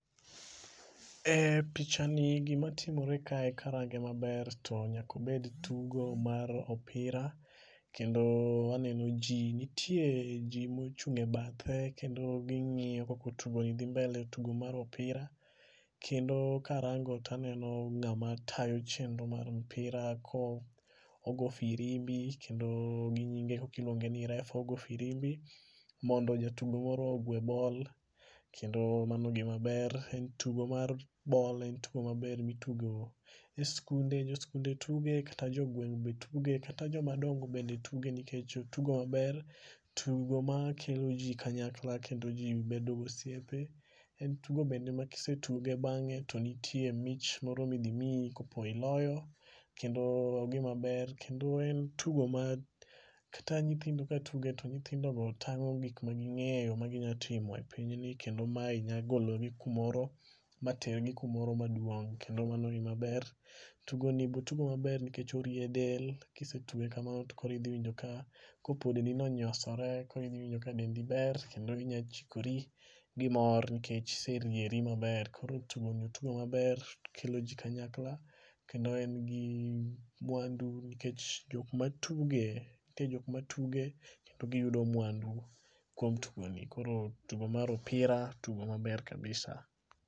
E picha ni gima timore kae karange maber to nyako bed tugo mar opira. Kendo aneno ji nitie ji mochung' e bathe kendo ging'iyo koko tugo ni dhi mbele tugo mar opira. Kendo karango to aneno ng'ama tayo chenro mar mpira ko ogo firimbi kendo gi nyine koki luonge ni ref. Ogo firimbi mondo jatudo moro ogwe bol. Kendo mano gima ber. Tugo mar bol en tugo maber mitugo e skunde joskunde tuge tuge kata jogweng' be tuge kata jomadongo bende tuge nikech otugo maber. Tugo makelo ji kanyakla kendo ji bedo osiepe. En tugo bende ma kisetuge bange to nitie mich moro midhi miyo kopo iloyo. Kendo en gima ber. Kendo e tugo ma kata nyithindo ka tuge to nyithindo go tang'o gik magikeyo ma ginyalotimo e pinyni. Kendo mae nyagoloni kumoro mater gi kumoro maduong' kendo mani gima ber. Tugoni be otugo maber nikech orie del. Kisetuge kamano to koro idhi winjo ka kopo dendi niochosore koro idhi winjo ka dendi ber kendo inya chikori gi mor nikech iserieri maber. Koro tugoni otugo maber okelo ji kanyakla. Kendo en gi mwandu nikech jok matuge nitie jok matuge kendo giyudo mwandu kuom tugoni. Koro tugo mar opira tugo maber kabisa.